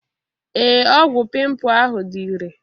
Ee ọgwụ pimpu ahụ dị irè.